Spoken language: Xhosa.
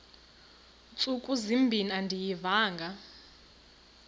ntsuku zimbin andiyivanga